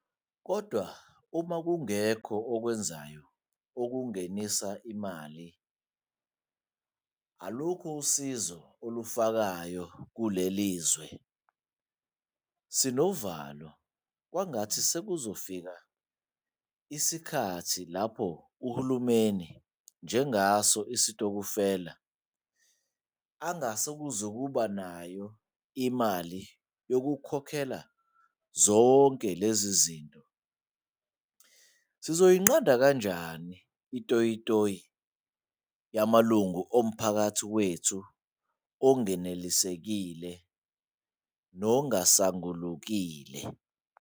Kodwa, uma kungekho okwenzayo okungenisa imali, alukho usizo ulufakayo kuleli zwe. Sinovalo kwangathi sekuzofika esikhathini lapho uhulumeni, njengaso isitokofela, engazukuba nayo imali yokukhokhela zonke lezi ziznto. Sizoyinqanda kanjani itoyi toyi yamalungu omphakathi wethu anganelisekile nangasangulukile?